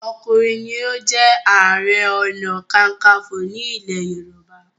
ọkùnrin ní o jé aré ọnà kankanfo ní ilè yorùbá.